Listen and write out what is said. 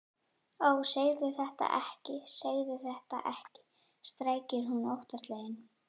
Ó, segðu þetta ekki, segðu þetta ekki, skrækir hún óttaslegin.